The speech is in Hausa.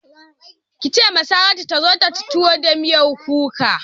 Ki ce wa Saratu ta zo ta ci tuwo da miyar kuka!